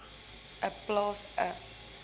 n plaas n